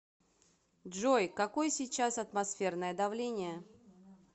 джой какой сейчас атмосферное давление